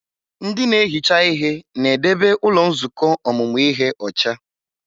Ndị na-ehicha ihe na-edebe ụlọ nzukọ ọmụmụ ihe ọcha.